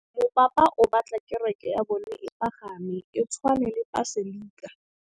Mopapa o batla kereke ya bone e pagame, e tshwane le paselika.